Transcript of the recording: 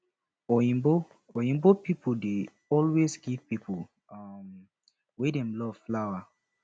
oyinbo oyinbo people dey always give pipo um wey dem love flower